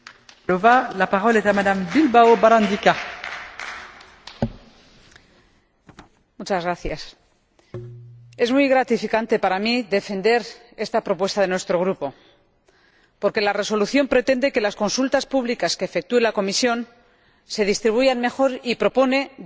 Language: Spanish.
Señora Presidenta, es muy gratificante para mí defender esta propuesta de nuestro Grupo, porque la Resolución pretende que las consultas públicas que efectúe la Comisión se distribuyan mejor y propone dos mejoras.